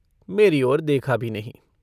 मेरी ओर देखा भी नहीं।